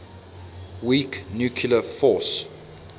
weak nuclear force